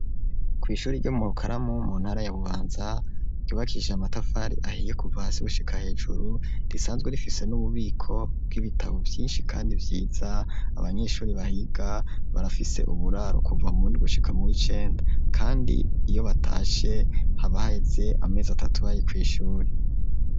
Kw'ishuri ryo mu bukaramu mu ntara ya bubanza ryubakiije matafari ahiye kuvahasigushika hejuru risanzwe rifise n'ububiko bw'ibitabo vyinshi kandi byiza abanyeshuri bahiga barafise uburaro kuva mri gushika muricenda kandi iyo batashe habaheze amezi atatu ayi kw'ishuri.